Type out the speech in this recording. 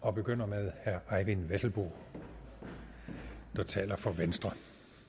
og begynder med herre eyvind vesselbo der taler for venstre